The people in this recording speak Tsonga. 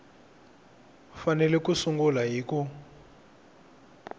fanele ku sungula hi ku